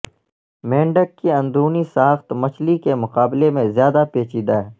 مینڈک کی اندرونی ساخت مچھلی کے مقابلے میں زیادہ پیچیدہ ہے